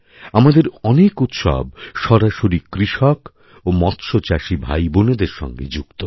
আমাদের অনেক উৎসব সরাসরি কৃষক ও মৎস্যচাষী ভাইবোনদের সঙ্গে যুক্ত